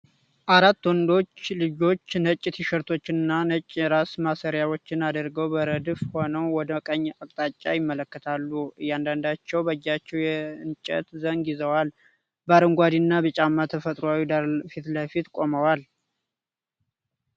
አራት ወንዶች ልጆች ነጭ ቲሸርቶችንና ነጭ የራስ ማሰሪያዎችን አድርገው በረድፍ ሆነው ወደ ቀኝ አቅጣጫ ይመለከታሉ። እያንዳንዳቸው በእጃቸው የእንጨት ዘንግ ይዘው፣ በአረንጓዴና ቢጫማ ተፈጥሯዊ ዳራ ፊት ለፊት ቆመዋል።